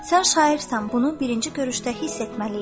Sən şairsən, bunu birinci görüşdə hiss etməli idin.